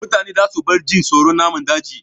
Mutane za su bar jin tsoron namun daji